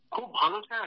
খুব ভালো স্যার